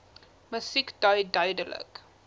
musiek dui duidelik